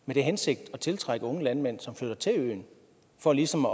med den hensigt at tiltrække unge landmænd som flytter til øen for ligesom